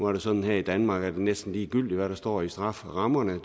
er sådan her i danmark at det næsten er ligegyldigt hvad der står i strafferammerne